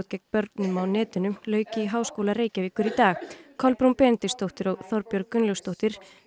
gegn börnum á netinu lauk í Háskóla Reykjavíkur í dag Kolbrún Benediktsdóttir og Þorbjörg Gunnlaugsdóttir